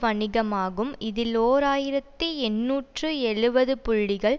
வணிகமாகும் இதில் ஓர் ஆயிரத்தி எண்ணூற்று எழுபது புள்ளிகள்